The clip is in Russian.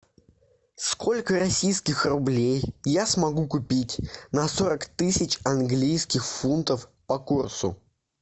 сколько российских рублей я смогу купить на сорок тысяч английских фунтов по курсу